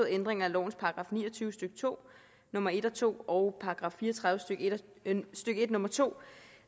ændringer af lovens § ni og tyve stykke to nummer en og to og § fire og tredive stykke en nummer to